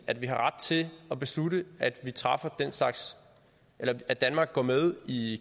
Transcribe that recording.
at vi har ret til at beslutte at at danmark går med i